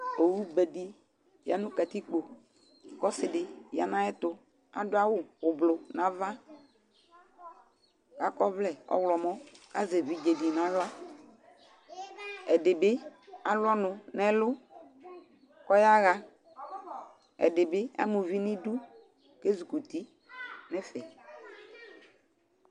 Owu bédi yanu katikpo, kɔ ɔsidi yanu ayɛtu, Adu awu ublu na aʋa Akɔ ɔʋlɛ ɔwlɔmɔ Azɛ évidzédi na aɣla Ɛdibi alu ɔnu nɛ ɛlu kɔ ɔyaha, ɛdibi amu uvi ni idu Ézikuti nɛfɛ